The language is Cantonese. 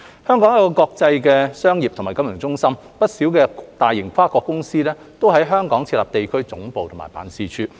香港是國際商業和金融中心，不少大型跨國公司均在香港設有地區總部和辦事處。